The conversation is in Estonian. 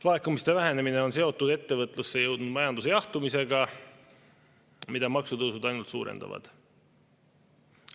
Laekumiste vähenemine on seotud ettevõtlusse jõudnud majanduse jahtumisega, mida maksutõusud ainult suurendavad.